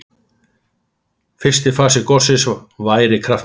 Fyrsti fasi gossins væri kraftmikill